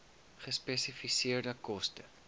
gespesifiseerde koste